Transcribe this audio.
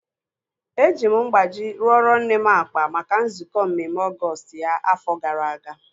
Eji m mgbaji rụọro nne m akpa maka nzukọ mmemme Ọgọọst ya afọ gara aga